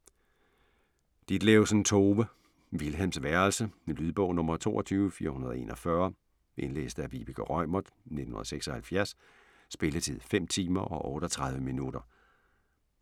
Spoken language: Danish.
Ditlevsen, Tove: Vilhelms værelse Lydbog 22441 Indlæst af Vibeke Reumert, 1976. Spilletid: 5 timer, 38 minutter.